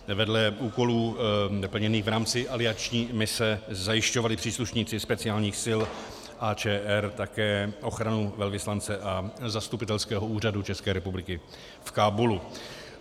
Vedle úkolů plněných v rámci alianční mise zajišťovali příslušníci speciálních sil AČR také ochranu velvyslance a Zastupitelského úřadu České republiky v Kábulu.